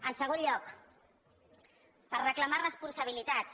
en segon lloc per reclamar responsabilitats